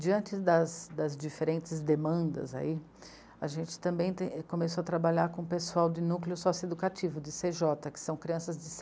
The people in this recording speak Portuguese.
Diante das, das diferentes demandas ai, a gente também começou a trabalhar com o pessoal de núcleo sócio-educativo, de cê jota, que são crianças de se